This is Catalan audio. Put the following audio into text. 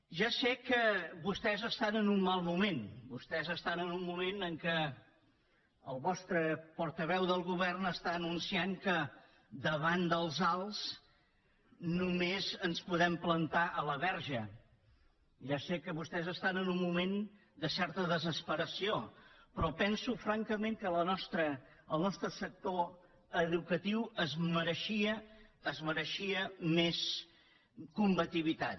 ja sé que vostès estan en un mal moment vostès estan en un moment en què el seu portaveu del govern està anunciant que davant dels alts només ens podem plantar a la verge ja sé que vostès estan en un moment de certa desesperació però penso francament que el nostre sector educatiu es mereixia es mereixia més combativitat